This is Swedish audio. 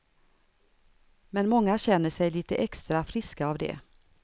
Men många känner sig lite extra friska av det.